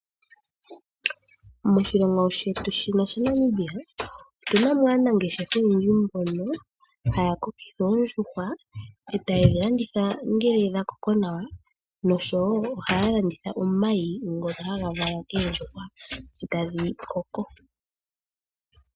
Moshilongo shetu shaNamibia otuna mo aanangeshefa oyendji mbono haya kokekitha oondjuhwa etaye dhilanditha ngele dhakoko nawa nosho woo ohaya landitha oomayi ngoka haga valwa kendjuhwa sho tadhi koko.